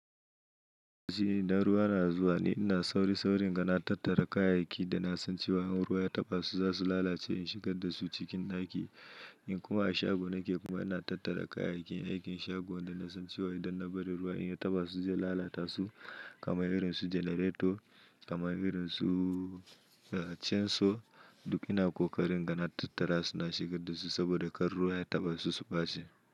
Ji na ruwa na zuwa ne, ina sauri-sauri n'gana tattara kayayyaki da na san cewa in ruwa ya taɓa su za su lalace in shigar da su cikin ɗaki. In kuma a shago nake kuma ina tattara kayayyakin aikin shagon da na san cewa idan na bari ruwa in ya taɓa su zai lalata su kamar irin su janareto, kamar irin su, uh, canso duk ina ƙoƙarin in ga na tattara su na shigar da su saboda kar ruwa ya taɓa su su ɓaci.